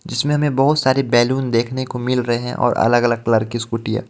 जिसमे हमे बहुत सारे बैलून देखने को मिल रहे हैं और अलग अलग कलर की स्कूटी हे.